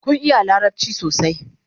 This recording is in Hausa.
kin iya larabci sosai?